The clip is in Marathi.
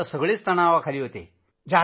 आणि माध्यमांचीही थोडी समस्या होती तिथं